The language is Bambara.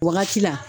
Wagati la